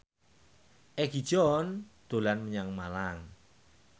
Egi John dolan menyang Malang